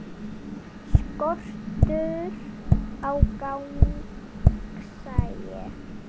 Skortur á gagnsæi